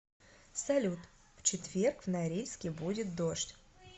салют в четверг в норильске будет дождь